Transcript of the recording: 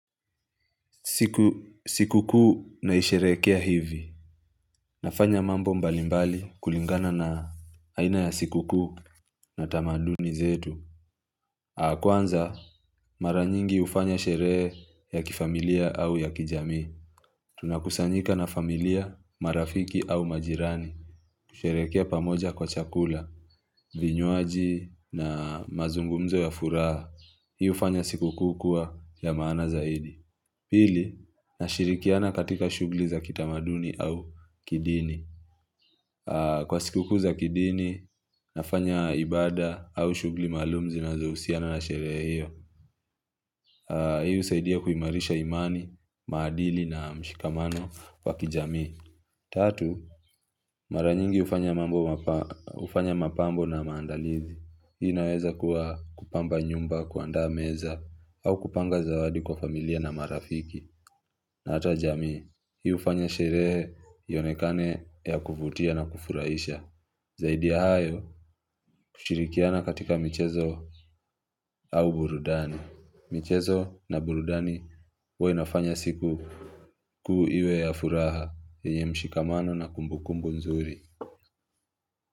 Siku kuu naisherekea hivi nafanya mambo mbalimbali kulingana na aina ya siku kuu na tamanduni zetu kwanza mara nyingi hufanya sherehe ya kifamilia au ya kijami Tunakusanyika na familia marafiki au majirani kusherekea pamoja kwa chakula vinywaji na mazungumzo ya furaha Hiu hufanya siku kuu kuwa ya maana zaidi Pili, na shirikiana katika shughuli za kitamaduni au kidini. Kwa sikukuu za kidini, nafanya ibada au shughuli maalumu zinazohusiana na sherehe hiyo. Hii husaidia kuimarisha imani, maadili na mshikamano wa kijamii. Tatu, mara nyingi hufanya mapambo na maandalizi. Hii naweza kuwa kupamba nyumba, kuandaa meza, au kupanga zawadi kwa familia na marafiki. Na hata jamii, hii hufanya sherehe ionekane ya kuvutia na kufurahisha. Zaidi ya hayo, kushirikiana katika michezo au burundani. Michezo na burudani, huwa inafanya siku kuu iwe ya furaha, yenye mshikamano na kumbukumbu nzuri.